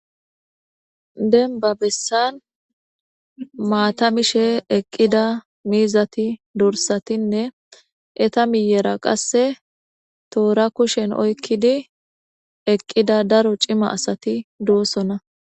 Demba besa maata mishe eqida miizati dorsatine eta miyera kaseka toora kushen oykidi eqida daro cima asati de'osona.